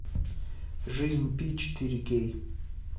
жизнь пи четыре кей